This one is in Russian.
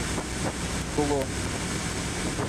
клон